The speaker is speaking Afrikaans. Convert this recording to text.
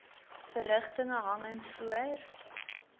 verrigtinge hangend voor